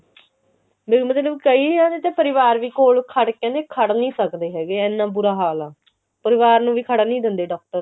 ਮੇਰੇ ਮਤਲਬ ਕਈਆਂ ਦੇ ਪਰਿਵਾਰ ਵੀ ਕੋਲ ਕੋਲ ਖੜ ਨਹੀਂ ਸਕਦੇ ਹੈਗੇ ਇੰਨਾ ਬੁਰਾ ਹਾਲ ਆ ਪਰਿਵਾਰ ਨੂੰ ਵੀ ਖੜਨ ਨਹੀਂ ਦਿੰਦੇ doctor